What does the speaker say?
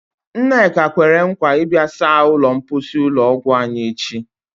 Nneka kwere nkwa ịbịa saa ụlọ mposi ụlọ ọgwụ anyị echi.